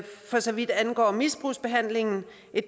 for så vidt angår misbrugsbehandlingen